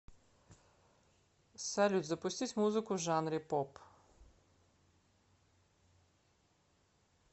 салют запустить музыку в жанре поп